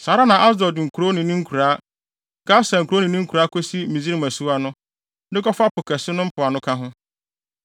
Saa ara na Asdod nkurow ne ne nkuraa, Gasa nkurow ne ne nkuraa kosi Misraim asuwa no, de kɔfa Po Kɛse no mpoano ka ho.